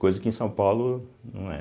Coisa que em São Paulo não era.